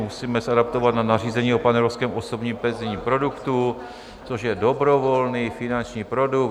Musíme se adaptovat na nařízení o panevropském osobním penzijním produktu, což je dobrovolný finanční produkt.